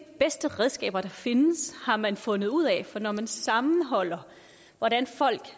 bedste redskaber der findes har man fundet ud af for når man sammenholder hvordan folk